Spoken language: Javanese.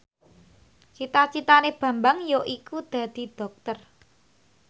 cita citane Bambang yaiku dadi dokter